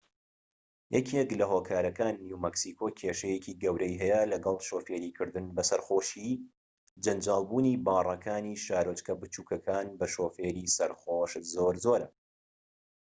یەکێك لە هۆکارەکان نیو مەکسیکۆ کێشەیەکی گەورەی هەیە لەگەڵ شۆفێریکردن بە سەرخۆشی جەنجاڵبوونی باڕەکانی شارۆچکە بچوکەکان بە شۆفێری سەرخۆش زۆر زۆرە